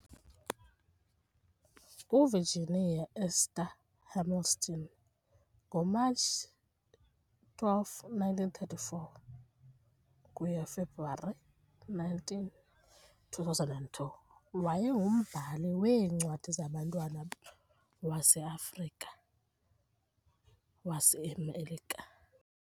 UVirginia Esther Hamilton ngoMatshi 12, 1934 - Februwari 19, 2002 wayengumbhali weencwadi zabantwana wase-Afrika-waseMelika .